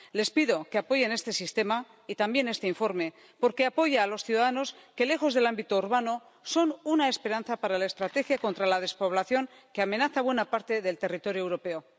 Les pido que apoyen este sistema y también este informe, porque apoya a los ciudadanos que, lejos del ámbito urbano, son una esperanza para la estrategia contra la despoblación que amenaza buena parte del territorio europeo.